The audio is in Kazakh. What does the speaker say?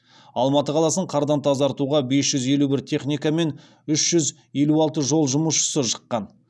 алматы қаласын қардан тазартуға бес жүз елу бір техника мен үш жүз елу алты жол жұмысшысы шыққан